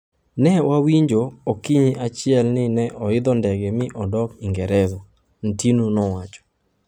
"ne wawinjo okinyi achiel ni ne oidho ndege mi odok ingereza," Ntinu nowacho.